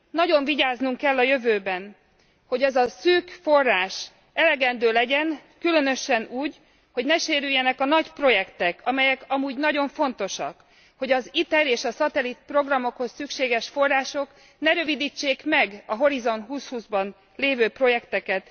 Nagyon vigyáznunk kell a jövőben, hogy az a szűk forrás elegendő legyen, különösen úgy, hogy ne sérüljenek a nagy projektek, amelyek amúgy nagyon fontosak, hogy az ITER és a szatellit programokhoz szükséges források ne rövidítsék meg a Horizont 2020 ban lévő projekteket.